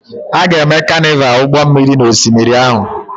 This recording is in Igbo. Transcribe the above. A ga-eme Carnival ụgbọ mmiri n'osimiri ahụ.